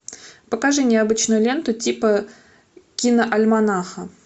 покажи необычную ленту типа киноальманаха